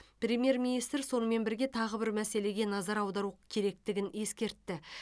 премьер министр сонымен бірге тағы бір мәселеге назар аудару керектігін ескертті